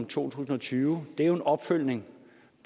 tusind og tyve er jo en opfølgning